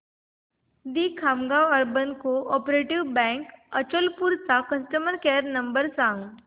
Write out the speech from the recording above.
दि Khamgaon urban cooperative bank Achalpur चा customer care number सांग